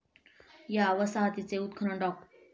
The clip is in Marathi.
या वसाहतीचे उत्खनन डॉ.